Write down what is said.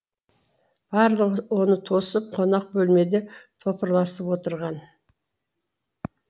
барлығы оны тосып қонақ бөлмеде топырласып отырған